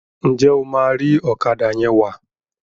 njé o ma ri Ọ̀kadà yén wá?